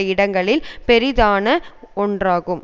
இடங்களில் பெரிதான ஒன்றாகும்